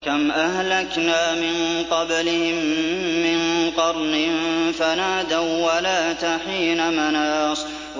كَمْ أَهْلَكْنَا مِن قَبْلِهِم مِّن قَرْنٍ فَنَادَوا وَّلَاتَ حِينَ مَنَاصٍ